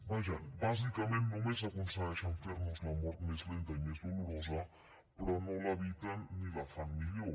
vaja bàsicament només aconsegueixen fer nos la mort més lenta i més dolorosa però no l’eviten ni la fan millor